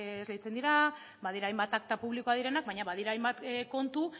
esleitzen dira badira hainbat akta publikoak direnak baina badira hainbat kontu